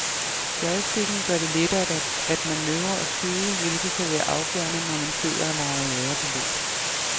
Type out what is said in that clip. Joysticken gør det lettere at manøvrere og skyde, hvilket kan være afgørende, når man sidder og leger jagerpilot.